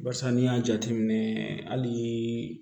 Barisa n'i y'a jateminɛ hali